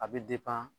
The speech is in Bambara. A bɛ